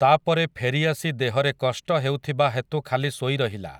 ତା'ପରେ ଫେରିଆସି ଦେହରେ କଷ୍ଟ ହେଉଥିବା ହେତୁ ଖାଲି ଶୋଇରହିଲା ।